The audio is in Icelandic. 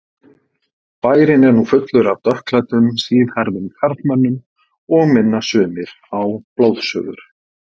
Bærinn er nú fullur af dökkklæddum, síðhærðum karlmönnum og minna sumir á blóðsugur.